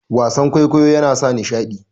wasan kwaikwayo yana sa nishadi